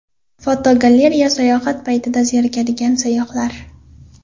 Fotogalereya: Sayohat paytida zerikadigan sayyohlar.